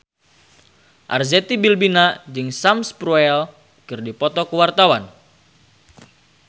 Arzetti Bilbina jeung Sam Spruell keur dipoto ku wartawan